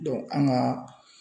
an ga